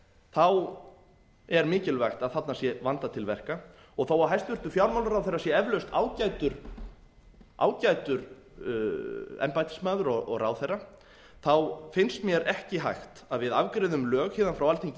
þá er mikilvægt að þarna sé vandað til verka og þó að hæstvirtur fjármálaráðherra sé eflaust ágætur embættismaður og ráðherra þá finnst mér ekki hægt að við afgreiðum lög héðan frá alþingi